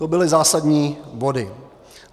To byly zásadní body.